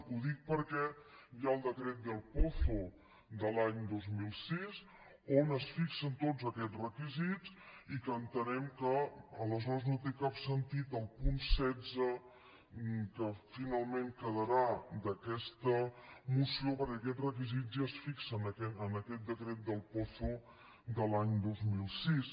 ho dic perquè hi ha el decret del pozo de l’any dos mil sis on es fixen tots aquests requisits i entenem que aleshores no té cap sentit el punt setze que finalment quedarà d’aquesta moció perquè aquests requisits ja es fixen en aquest decret del pozo de l’any dos mil sis